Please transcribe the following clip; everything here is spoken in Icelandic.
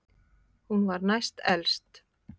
Hún var næst elst.